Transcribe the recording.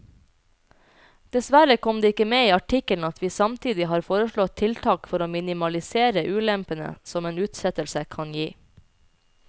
Dessverre kom det ikke med i artikkelen at vi samtidig har foreslått tiltak for å minimalisere ulempene som en utsettelse kan gi.